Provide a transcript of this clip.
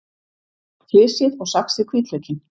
Flysjið og saxið hvítlaukinn.